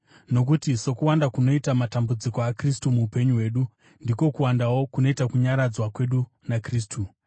Nokuti sokuwanda kunoita matambudziko aKristu muupenyu hwedu, ndiko kuwandawo kunoita kunyaradzwa kwedu naKristu.